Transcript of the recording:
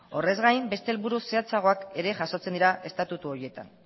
horrez gain beste helburu zehatzagoak ere jasotzen dira estatutu horietan